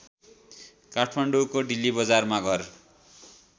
काठमाडौँको डिल्लीबजारमा घर